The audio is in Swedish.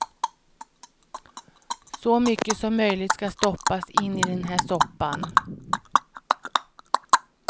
Så mycket som möjligt ska stoppas in i den här soppan.